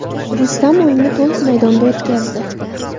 Rustam o‘yinni to‘liq maydonda o‘tkazdi.